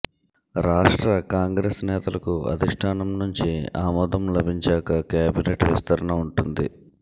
రాష్ట్ర కాంగ్రెస్ నేతలకు అధిష్టానం నుంచి ఆమోదం లభించాక కేబినెట్ విస్తరణ ఉంటుంది